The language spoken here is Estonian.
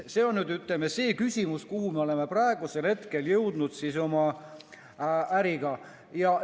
See on see küsimus, kuhu me oleme praegusel hetkel oma äriga jõudnud.